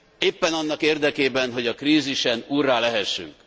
éppen annak érdekében, hogy a krízisen úrrá lehessünk.